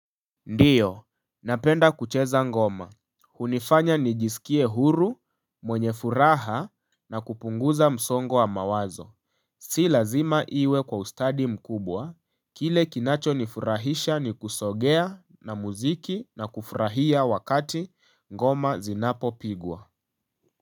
Ndiyo, napenda kucheza ngoma, hunifanya nijisikie huru, mwenye furaha na kupunguza msongo wa mawazo Si lazima iwe kwa ustadi mkubwa, kile kinacho nifurahisha ni kusogea na mziki na kufurahia wakati ngoma zinapopigwa.